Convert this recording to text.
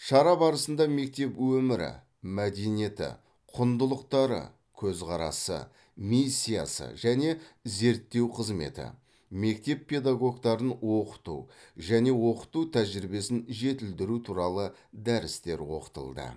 шара барысында мектеп өмірі мәдениеті құндылықтары көзқарасы миссиясы және зерттеу қызметі мектеп педагогтарын оқыту және оқыту тәжірибесін жетілдіру туралы дәрістер оқытылды